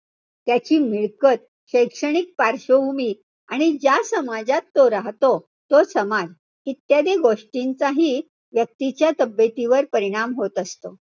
त्याची मिळकत, शैक्षणिक पार्श्वभूमी, आणि ज्या समाजात तो राहतो तो समाज. इत्यादी गोष्टींचाहि व्यक्तीच्या तब्येतीवर परिणाम होत असतो.